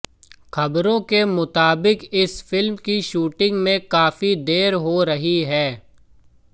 खबरों के मुताबिक़ इस फिल्म की शूटिंग में काफी देर हो रही है